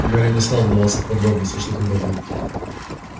гарри не стал вдаваться в подробности что тогда будет